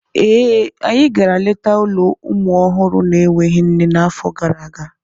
Ee, anyị gara leta ụlọ ụmụ ọhụrụ na-enweghị nne n'afọ gara aga.